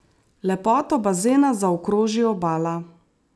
Lepoto bazena zaokroži obala.